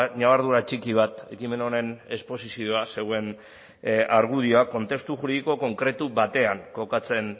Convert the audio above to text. ñabardura txiki bat ekimen honen esposizioan zegoen argudioa kontestu juridiko konkretu batean kokatzen